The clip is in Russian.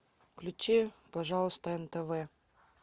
включи пожалуйста нтв